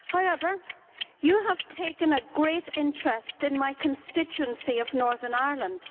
However, you have taken a great interest in my constituency of Northern Ireland.